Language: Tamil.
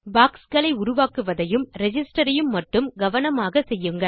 boxகளை உருவாக்குவதையும் ரிஜிஸ்டர் ஐயும் மட்டும் கவனமாக செய்யுங்கள்